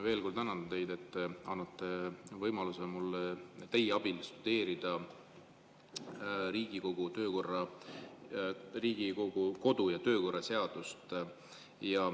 Veel kord tänan teid, et te annate mulle võimaluse tudeerida teie abil Riigikogu kodu- ja töökorra seadust.